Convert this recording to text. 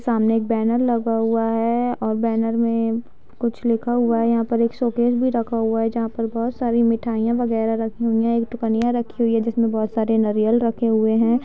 सामने एक बैनर लगा हुआ हैं और बैनर में कुछ लिखा हुआ हैं यहाँ पर एक शोकेश भी रखा हुआ हैं जहाँ पे बहुत सारी मिठाईयाँ वैगरह रखी हुई हैं एक रखी हुई हैं जिसमें बहुत सारे नारियल रखे हुए हैं।